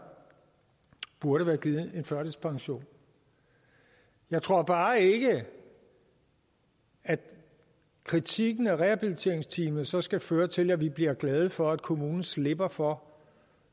burde være givet en førtidspension jeg tror bare ikke at kritikken af rehabiliteringsteamet så skal føre til at vi bliver glade for at kommunen slipper for